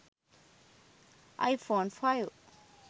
i phone 5